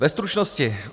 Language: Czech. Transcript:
Ve stručnosti.